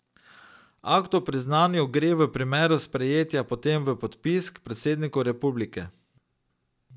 Akt o priznanju gre v primeru sprejetja potem v podpis k predsedniku republike.